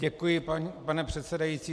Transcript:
Děkuji, pane předsedající.